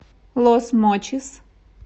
лос мочис